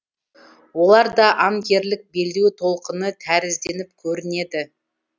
оларда анкерлік белдеу толқыны тәрізденіп көрінеді